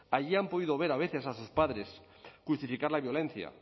allí han podido ver a veces a sus padres justificar la violencia